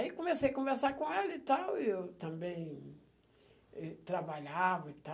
Aí comecei a conversar com ela e tal, e eu também trabalhava e